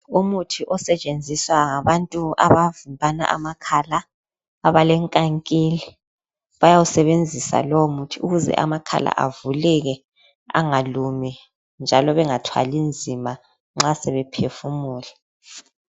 Umuthi osetsenziswa ngabantu abavimbana amakhala abalenkankili bayawusebenzisa lowo muthi ukuze amakhala avuleke angalumi njalo bengathwali nzima nxa sebephefumula.